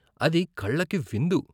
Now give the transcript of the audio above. అది కళ్ళకు విందు.